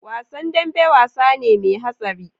Wasan dambe wasane me hatsari